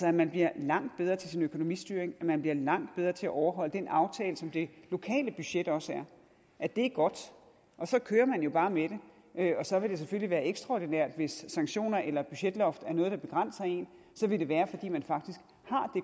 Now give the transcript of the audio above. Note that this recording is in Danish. at man bliver langt bedre til sin økonomistyring og at man bliver langt bedre til at overholde den aftale som det lokale budget også er det er godt og så kører man jo bare med det og så vil det selvfølgelig være ekstraordinært hvis sanktioner eller budgetloft er noget der begrænser en så vil det være fordi man faktisk